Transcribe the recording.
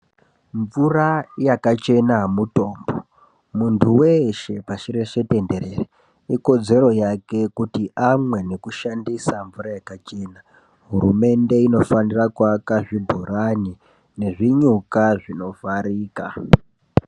Mvura yakachena mutombo muntu weshe pasi reshe denderere ikodzero yake kuti amwe neku shandisa mvura yakachena hurumende inofanira ku aka zvibhorani ne zvinyuka zvino vharika.